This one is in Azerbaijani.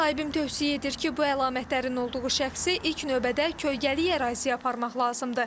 Müsahibim tövsiyə edir ki, bu əlamətlərin olduğu şəxsi ilk növbədə kölgəli əraziyə aparmaq lazımdır.